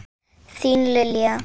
Þín Lilja.